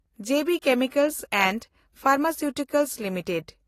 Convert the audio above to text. ᱡᱮ B chemicals and pharmaceutical limited